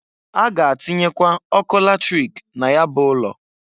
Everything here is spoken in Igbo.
A ga-atinyekwa ọkụ latrik na ya bụ ụlọ.